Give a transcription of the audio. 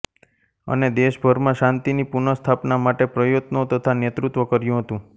અને દેશભરમાં શાંતિની પુનસ્થાપના માટે પ્રયત્નો તથા નેતૃત્વ કર્યું હતું